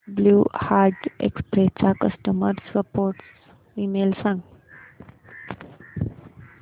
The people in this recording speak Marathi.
ब्ल्यु डार्ट एक्सप्रेस चा कस्टमर सपोर्ट ईमेल सांग